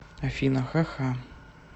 афина ха ха